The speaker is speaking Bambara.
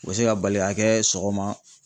U bɛ se ka bali k'a kɛ sɔgɔma